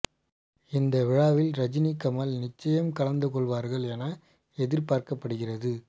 இந்த விழாவில் ரஜினி கமல் கநிச்சயம் கலந்து கொள்வார்கள் என எதிர்பார்க்கப்படுகிறது